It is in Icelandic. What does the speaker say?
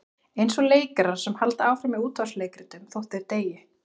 Eins og leikarar sem halda áfram í útvarpsleikritum þótt þeir deyi.